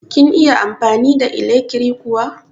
Kin iya amfani da ilekri kuwa?